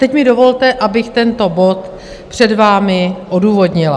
Teď mi dovolte, abych tento bod před vámi odůvodnila.